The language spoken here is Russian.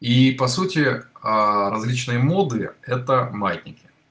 и по сути различные моды это маятники